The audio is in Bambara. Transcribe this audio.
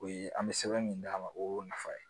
O ye an bɛ sɛbɛn min d'a ma o y'o nafa ye